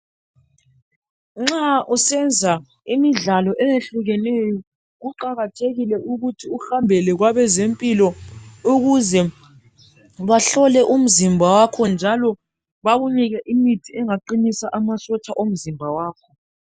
Nxa usenza imidlalo eyehlukeneyo, kuqakathekile ukuthi uhambele kwabezempilakahle ukuze bahlole umzimba wakho njalo bakunike imithi engaqinisa amasotsha omzimba wakho.